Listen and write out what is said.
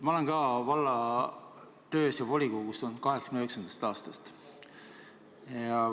Ma olen valla töös osalenud ja volikogus olnud 1989. aastast.